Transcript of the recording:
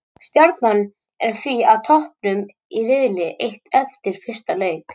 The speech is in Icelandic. Stjarnan er því á toppnum í riðli eitt eftir fyrsta leik.